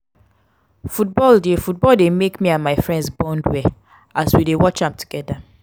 football dey football dey make me and my friends bond well as we dey watch am together.